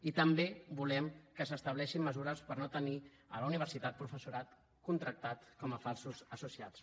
i també volem que s’estableixin mesures per no tenir a la universitat professorat contractat com a falsos associats